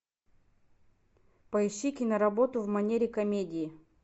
поищи киноработу в манере комедии